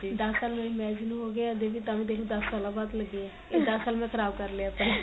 ਦੱਸ ਸਾਲ ਮੇਰੀ marriage ਨੂੰ ਹੋ ਗਏ ਹਜੇ ਵੀ ਤਾਂ ਵੀ ਦੇਖ ਲੋ ਦੱਸ ਸਾਲਾ ਬਾਅਦ ਲਗੇ ਏ ਇਹ ਦੱਸ ਸਾਲ ਮੈਂ ਖਰਾਬ ਕਰ ਲੈ ਆਪਣੇ